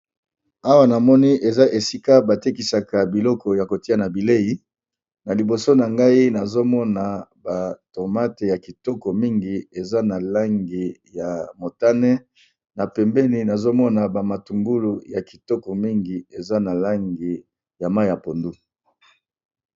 awa na moni eza esika batekisaka biloko ya kolia na bilei na liboso na ngai nazomona batomate ya kitoko mingi eza na langi ya motane na pembeni nazomona bamatungulu ya kitoko mingi eza na langi ya mai ya pondu.